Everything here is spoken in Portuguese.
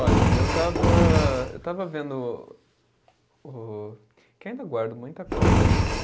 Olha, eu estava, eu estava vendo o, o, que eu ainda guardo muita coisa, assim.